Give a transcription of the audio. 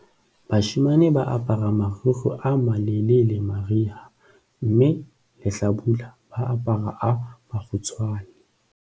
bashemane ba apara marikgwe a malelele mariha mme lehlabula ba apara a makgutshwane